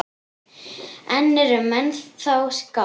En eru menn þá skáld?